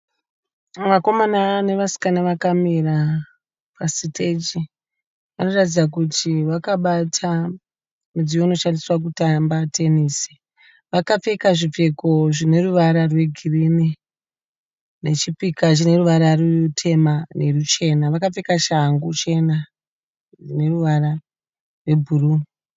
Vakomana nevasikana vakamira pasiteji varikuratidza kuti vakabata mudziyo unoshandisiwa kutamba tenesi. Vakapfeka zvipfeko zvineruvara rwegirini nechipika chine ruvara ruchena nerutema vakapfeka shangu chena neruvara rwebhuruu.